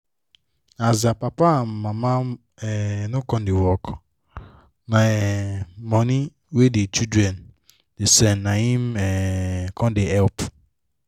as dia papa and mama um no come da work na um money wey the children da send naim um com da help